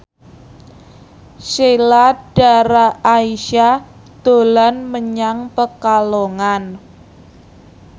Sheila Dara Aisha dolan menyang Pekalongan